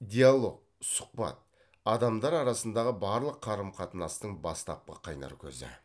диалог сұхбат адамдар арасындағы барлық қарым қатынастың бастапқы қайнар көзі